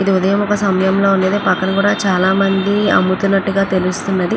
ఇది ఉదయం ఒక సమయం లోనిది పక్కనా కూడా చాలా మంది అమ్ముతున్నటుగా తెలుస్తున్నది .